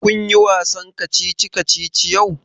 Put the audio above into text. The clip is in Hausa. Kun yi wasan kacici kacici yau?